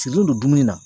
Sigilen don dumuni na